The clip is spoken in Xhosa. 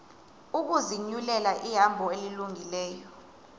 ukuzinyulela ihambo elungileyo